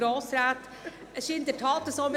Es ist in der Tat so: